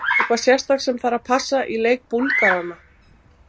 Eitthvað sérstakt sem að þarf að passa í leik Búlgarana?